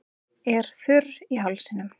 Er þurr í hálsinum.